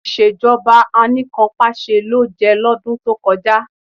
Ìṣèjọba Anìkanpàṣẹ ló jẹ́ lọ́dún tó kọjá